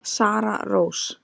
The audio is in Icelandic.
Sara Rós.